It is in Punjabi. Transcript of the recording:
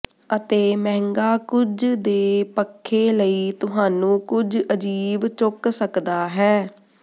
ਅਤੇ ਮਹਿੰਗਾ ਕੁਝ ਦੇ ਪੱਖੇ ਲਈ ਤੁਹਾਨੂੰ ਕੁਝ ਅਜੀਬ ਚੁੱਕ ਸਕਦਾ ਹੈ